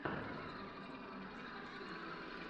найди тенгиз мосидзе